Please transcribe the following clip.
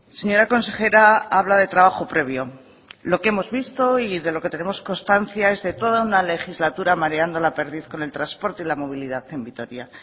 señora consejera habla de trabajo previo lo que hemos visto y de lo que tenemos constancia es de toda una legislatura mareando la perdiz con el trasporte y la movilidad en vitoria